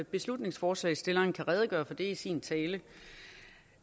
beslutningsforslagsstillerne kan redegøre for det i sin tale